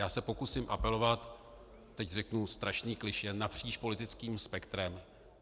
Já se pokusím apelovat - teď řeknu strašný klišé - napříč politickým spektrem.